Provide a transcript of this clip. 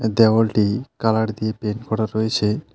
আর দেওয়ালটি কালার দিয়ে পেন্ট করা রয়েছে।